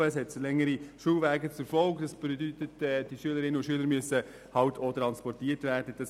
Die Folge davon sind längere Schulwege, und das bedeutet, dass Schülerinnen und Schüler transportiert werden müssen.